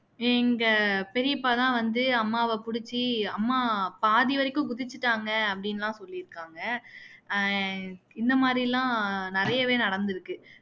எங்க பெரியப்பா தான் வந்து அம்மாவ புடிச்சி அம்மா பாதி வரைக்கும் குதிச்சுட்டாங்க அப்படின்னு எல்லாம் சொல்லியிருக்காங்க அஹ் இந்த மாதிரியெல்லாம் நிறையவே நடந்துருக்கு